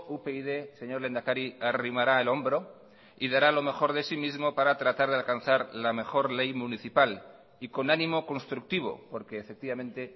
upyd señor lehendakari arrimará el hombro y dará lo mejor de sí mismo para tratar de alcanzar la mejor ley municipal y con ánimo constructivo porque efectivamente